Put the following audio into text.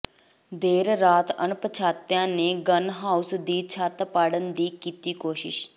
ਦੇਰ ਰਾਤ ਅਣਪਛਾਤਿਆਂ ਨੇ ਗੰਨ ਹਾਊਸ ਦੀ ਛੱਤ ਪਾੜ੍ਹਨ ਦੀ ਕੀਤੀ ਕੋਸ਼ਿਸ਼